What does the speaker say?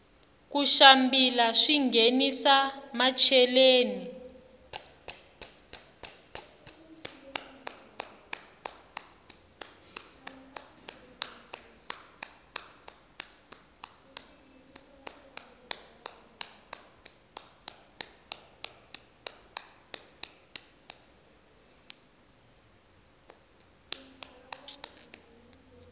ku xambila swinghenisa macheleni